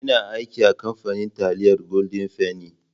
Ina aiki a kamfanin taliyar golden fenny.